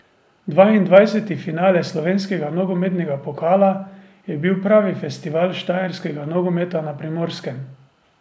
Dvaindvajseti finale slovenskega nogometnega pokala je bil pravi festival štajerskega nogometa na Primorskem.